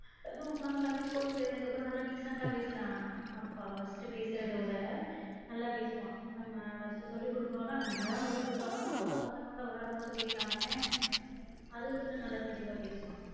அதுவும் இல்லாம தம்பி ஸ்கூல்க்கு சேந்ததுக்கு அப்றம் நல்ல decent ஆ பேசுறான் அப்பா first பேசுறத விட நல்ல பேசுவான் நம்ம first சொல்லிகுடுக்குறோம்ன்னா நம்ம என்ன தா சொல்லி குடுத்தாலும் ஸ்கூல்ல பசங்களோட வெளாடும் போது பேசுறான் பாரேன் அது கொஞ்சம் நல்லா தெளிவா பேசுறான்